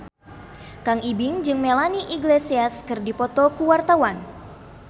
Kang Ibing jeung Melanie Iglesias keur dipoto ku wartawan